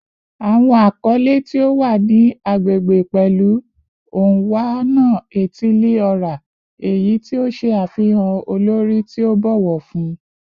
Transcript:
Awọn akọle ti o wa ni agbegbe pẹlu "Onwa-na-etili-ora," eyi ti o ṣe afihan olori ti a bọwọ fun